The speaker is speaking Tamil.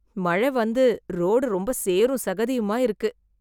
மழைவந்து ரோடு ரொம்ப சேரும் சகதியுமா இருக்கு.